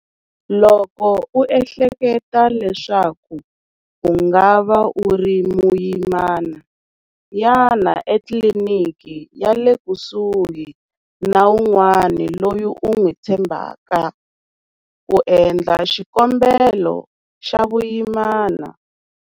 Loko u ehleketa leswaku u nga va u ri muyimana, yana etliliniki ya le kusuhi na un'wana loyi u n'wi tshembhaka ku endla xikambelo xa vuyimana.